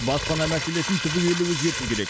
баспана мәселесін түбегейлі өзгерту керек